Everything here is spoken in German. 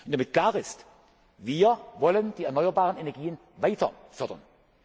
führt. Damit klar ist Wir wollen die erneuerbaren Energien weiter